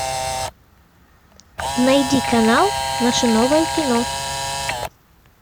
найди канал наше новое кино